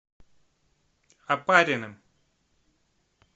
опариным